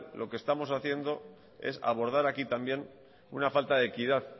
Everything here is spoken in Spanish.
lo que estamos haciendo es abordar aquí también una falta de equidad